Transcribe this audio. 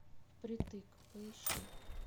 впритык поищи